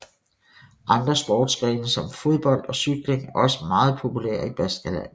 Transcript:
Andre sportsgrene som fodbold og cykling er også meget populære i Baskerlandet